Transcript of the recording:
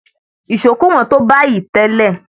Ìṣó kò wọ́n tó bayìí tẹ́lẹ̀.